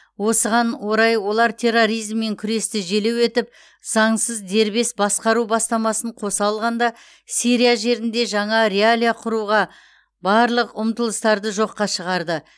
осыған орай олар терроризммен күресті желеу етіп заңсыз дербес басқару бастамасын қоса алғанда сирия жерінде жаңа реалия құруға барлық ұмтылыстарды жоққа шығарды